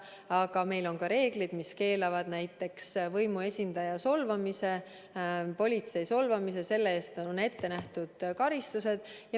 Aga meil on ka reeglid, mis keelavad näiteks võimuesindaja solvamise, politsei solvamise, ja selle eest on ette nähtud karistused.